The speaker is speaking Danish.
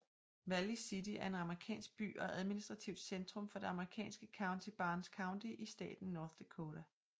Valley City er en amerikansk by og administrativt centrum for det amerikanske county Barnes County i staten North Dakota